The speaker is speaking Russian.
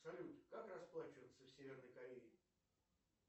салют как расплачиваться в северной корее